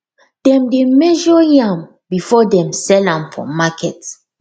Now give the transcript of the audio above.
dem dey measure yam before them sell am for market